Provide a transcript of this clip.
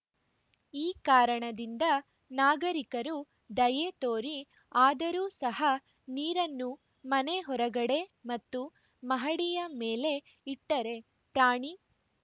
ಈ ಕಾರಣದಿಂದ ನಾಗರಿಕರು ದಯೇ ತೋರಿ ಆದರೂ ಸಹ ನೀರನ್ನು ಮನೆ ಹೊರಗಡೆ ಮತ್ತು ಮಹಡಿಯ ಮೇಲೆ ಇಟ್ಟರೆ ಪ್ರಾಣಿ